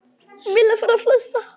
Milla fór að flissa.